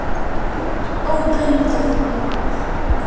Óbundið mál